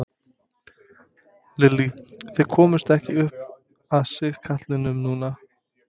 Lillý: Þið komust ekki upp að sigkatlinum núna?